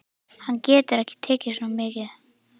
Hann getur ekki tekið svo mikið.